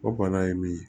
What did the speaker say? O bana ye min ye